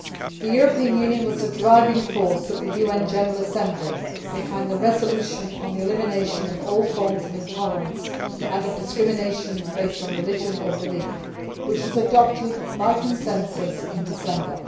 The European Union was a driving force in the UN General Assembly behind the resolution on the elimination of all forms of intolerance and of discrimination based on religion or belief which was adopted by consensus in December